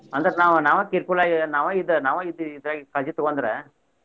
ಅಂದ್ರ ನಾವ್ ನಾವ careful ಆಗೆ ನಾವ ಇದ್ ನಾವ ಇದ್ ಇದಾಗಿ ಕಾಳಜಿ ತಗೊಂಡ್ರ.